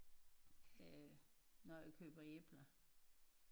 Øh når jeg køber æbler